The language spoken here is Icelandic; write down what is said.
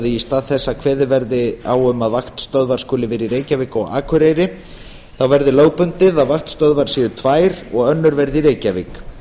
í stað þess að kveðið verði á um að vaktstöðvar skuli vera í reykjavík og á akureyri verði lögbundið að vaktstöðvar séu tvær og önnur verði í reykjavík